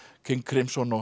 King